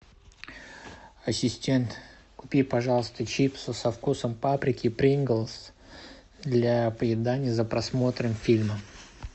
ассистент купи пожалуйста чипсы со вкусом паприки принглс для поедания за просмотром фильма